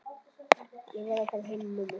Ég verð að fara heim með mömmu.